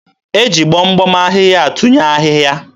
e ji gbom gbom ahịhịa atụnye ahịhịa.